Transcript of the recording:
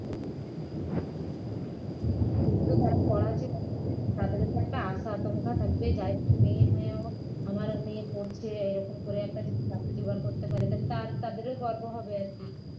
খুব তো তারা পড়াচ্ছে তাদেরও তো একটা আশা আকাঙ্ক্ষা থাকবে যাইহোক মেয়ে হয়েও আমার মেয়ে পড়ছে এরকম করে একটা যদি চাকরি জোগাড় করতে পারে তাহলে তার তাদেরও গর্ব হবে আর কি